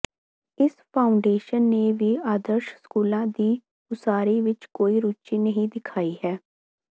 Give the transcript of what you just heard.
ਇਸ ਫਾਊਂਡੇਸ਼ਨ ਨੇ ਵੀ ਆਦਰਸ਼ ਸਕੂਲਾਂ ਦੀ ਉਸਾਰੀ ਵਿੱਚ ਕੋਈ ਰੁਚੀ ਨਹੀਂ ਦਿਖਾਈ ਹੈ